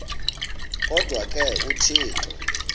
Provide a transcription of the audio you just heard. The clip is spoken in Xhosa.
kodwa ke uthixo